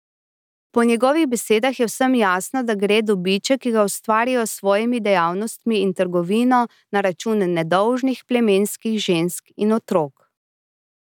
Po njegovih besedah je vsem jasno, da gre dobiček, ki ga ustvarijo s svojimi dejavnostmi in trgovino, na račun nedolžnih plemenskih žensk in otrok.